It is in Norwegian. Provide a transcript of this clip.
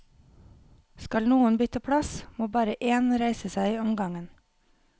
Skal noen bytte plass, må bare én reise seg om gangen.